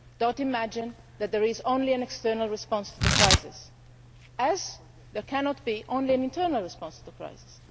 Do not imagine that there is only an external response to the crisis, just as there cannot be only an internal response to the crisis.